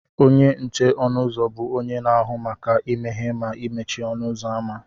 Onye nche ọnụ ụzọ bụ onye na-ahụ maka imeghe na imechi ọnụ ụzọ ámá